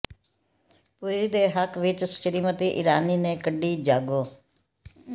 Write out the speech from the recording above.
ਪੁਰੀ ਦੇ ਹੱਕ ਵਿੱਚ ਸਮਿ੍ਤੀ ਇਰਾਨੀ ਨੇ ਕੱਢੀ ਜਾਗੋ